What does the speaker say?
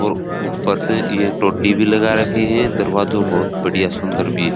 और ऊपर तो ये तोड़ी भी लगा रखी है दरवाजो बहुत बढ़िया सुन्दर भी है।